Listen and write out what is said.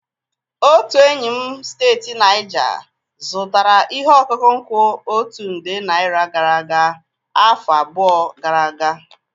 Otu enyi m steeti Naijaa zụtara ihe ọkụkụ nkwụ otu nde naira gara aga afọ abụọ gara aga.